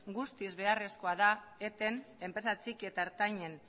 guztiz beharrezkoa da etetea enpresa txiki eta ertainen